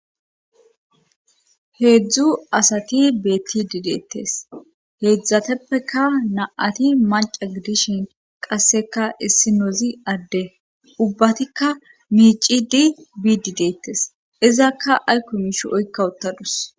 heedzdzu asati beetti dideettes heedzdzateppeka na7ati maca gidishin qasseka issi noozi adde ubbatikka miici di bi di deettes izakka aykko miishi oykka uttadus